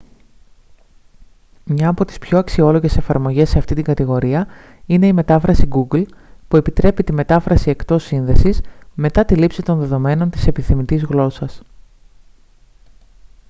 μία από τις πιο αξιόλογες εφαρμογές σε αυτήν την κατηγορία είναι η μετάφραση google που επιτρέπει τη μετάφραση εκτός σύνδεσης μετά τη λήψη των δεδομένων της επιθυμητής γλώσσας